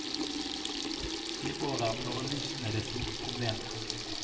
I år er bladlusene det store problemet.